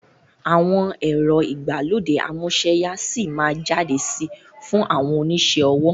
Àwọn ẹ̀rọ ìgbàlódé amúsẹ́ya síí má jáde sí fún àwọn onisẹ́ ọwọ́